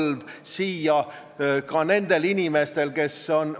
Aga praegu on vaja teie eelnõu tagasi lükata, et mitte paljusid inimesi närveerima panna.